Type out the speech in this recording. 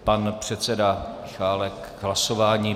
Pan předseda Michálek k hlasování.